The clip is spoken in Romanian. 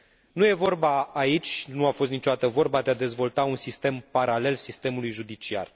Nu e vorba aici nu a fost niciodată vorba de a dezvolta un sistem paralel sistemului judiciar